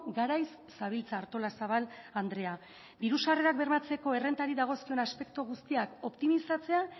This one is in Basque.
garaiz zabiltza artolazabal andrea diru sarrerak bermatzeko errentari dagozkion aspektu guztiak optimizatzea